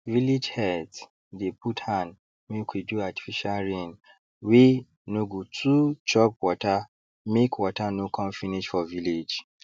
village heads dey put hand make we do artificial rain wey no go too chop watermake water no con finish for village